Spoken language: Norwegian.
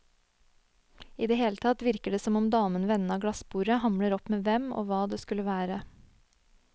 I det hele tatt virker det som om damen ved enden av glassbordet hamler opp med hvem og hva det skulle være.